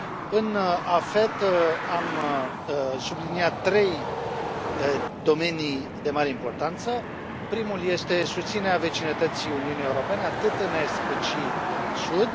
În AFET am subliniat trei domenii de mare importanță primul este susținerea vecinătății Uniunii Europene atât în est, cât și în sud